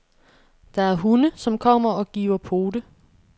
Der er hunde, som kommer og giver pote.